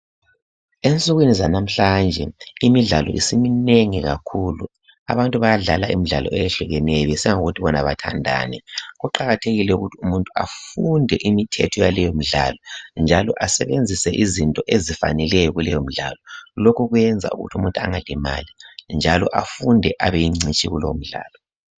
Ensukwini zanamhlanje imidlalo isiminengi kakhulu abantu bayadlala imidlalo eyehlukeneyo besiya ngokuthi bona bathandani kuqakathekile ukuthi umuntu afunde imithetho yaleyomdlalo njalo asebenzise izinto ezifaneleyo kuleyo midlalo lokhu kuyenza ukuthi umuntu angalimali njalo afunde abeyingcitshi kulowo mdlalo